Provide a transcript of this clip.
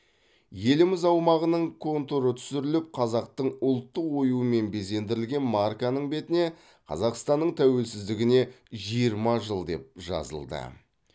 еліміз аумағының контуры түсіріліп қазақтың ұлттық оюымен безендірілген марканың бетіне қазақстанның тәуелсіздігіне жиырма жыл деп жазылды